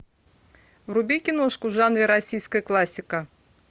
вруби киношку в жанре российская классика